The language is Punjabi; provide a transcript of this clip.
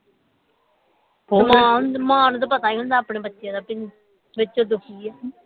ਮਾਂ ਨੂੰ ਤੇ ਪਤਾ ਹੀ ਹੁੰਦੇ ਆਪਣੇ ਬੱਚੇ ਦਾ ਵੀ ਵਿਚੋਂ ਦੁਖੀ ਹੈ